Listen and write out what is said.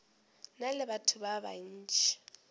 na le batho ba bantši